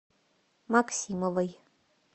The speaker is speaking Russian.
максимовой